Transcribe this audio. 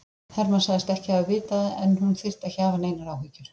Hermann sagðist ekki hafa vitað það en hún þyrfti ekki að hafa neinar áhyggjur.